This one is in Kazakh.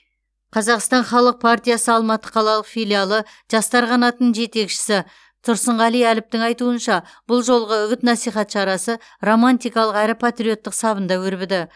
қазақстан халық партиясы алматы қалалық филиалы жастар қанатының жетекшісі тұрсынғали әліптің айтуынша бұл жолғы үгіт насихат шарасы романтикалық әрі патриоттық сабында өрбіді